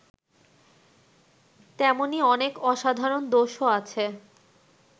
তেমনি অনেক অসাধারণ দোষও আছে